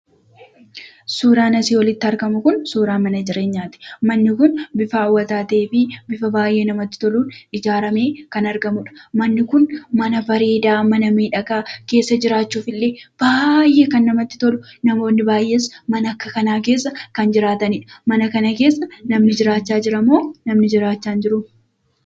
Suuraan asii olitti argamu kun, suuraa Mana jireenyati. Manni kun bifa hawwata ta'ee fi bifa baay'ee namatti toluun ijaarame kan argamudha. Manni kun, Mana bareeda, Mana miidhaga keessa jiraachuuf illee baay'ee kan namatti tolu, namoonni baay'een Mana akka kanaa keessa kan jiraatanidha. Mana kana keessa namni jiraacha jiramo? jiraacha hin jiru?